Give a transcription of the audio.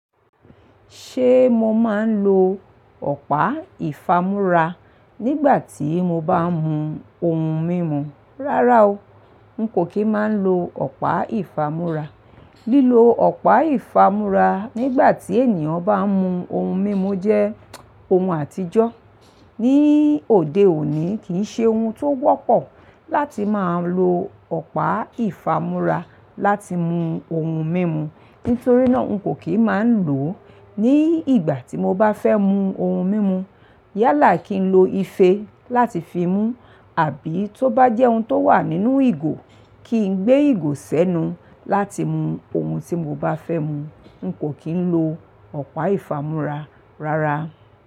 Ṣé mo máa ń lo ọ̀pá ìfámúrá nígbà tí mo bá ń mu ohun mímu? Rárá o, n kò kì í máa ń lo ọ̀pá ìfámúrá. Lílo ọ̀pá ìfámúrá nígbà tí ènìyàn bá ń mu ohun mímu jẹ́ ohun àtijọ́. Ni òde òní, kì í ṣe ohun tó wọ́pọ̀ láti máa lo ọ̀pá ìfámúrá láti mu ohun mímu. Nítorí náà, n kò kí ń máa ń lò ó. Ni ìgbà tí mo bá fẹ́ mu ohun mímu, yálà kí n lo ife láti fi mú, àbí tó bá jẹ́ ohun tó wà nínú ìgò, kí n gbé ìgò sẹ́nu láti mu ohun tí mo bá fẹ́ mu. N kò kí ń lo ọ̀pá ìfámúrá rárá.